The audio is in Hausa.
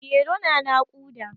Mairo na naƙuda.